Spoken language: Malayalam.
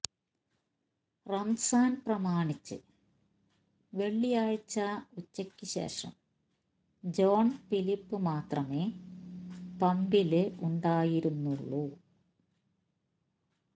റമസാന് പ്രമാണിച്ച് വെള്ളിയാഴ്ച ഉച്ചക്ക് ശേഷം ജോണ് ഫിലിപ്പ് മാത്രമേ പമ്പില് ഉണ്ടായിരുന്നുള്ളു